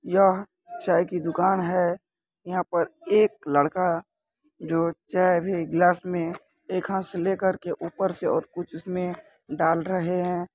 यह चाय की दुकान है यहाँ पर एक लड़का जो चाय अभी ग्लास में एक हाथ से लेकर के ऊपर से और कुछ उसमें डाल रहे है।